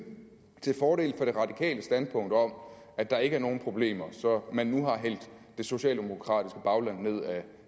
til fordel for det radikale standpunkt om at der ikke er nogen problemer så man nu har hældt det socialdemokratiske bagland ned ad